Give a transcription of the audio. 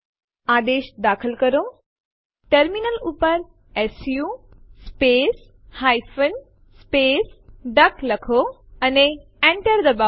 આદેશ દાખલ કરોTerminal ઉપર su space hyphen space duck લખો અને Enter દબાવો